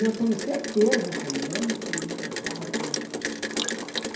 E eu tenho certeza também que ele gostava muito de mim.